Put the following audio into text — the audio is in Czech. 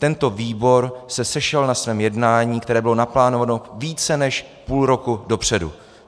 Tento výbor se sešel na svém jednání, které bylo naplánováno více než půl roku dopředu.